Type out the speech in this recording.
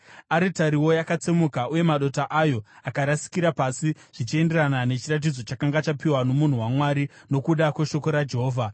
Aritariwo yakatsemuka uye madota ayo akarasikira pasi zvichienderana nechiratidzo chakanga chapiwa nomunhu waMwari nokuda kweshoko raJehovha.